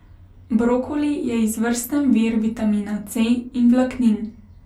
Brokoli je izvrsten vir vitamina C in vlaknin.